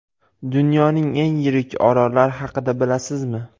Dunyoning eng yirik orollari haqida bilasizmi?.